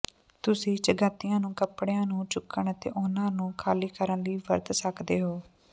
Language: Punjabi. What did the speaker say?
ਤੁਸੀਂ ਚਗੱਤੀਆਂ ਨੂੰ ਕਪੜਿਆਂ ਨੂੰ ਚੁੱਕਣ ਅਤੇ ਉਹਨਾਂ ਨੂੰ ਖਾਲੀ ਕਰਨ ਲਈ ਵਰਤ ਸਕਦੇ ਹੋ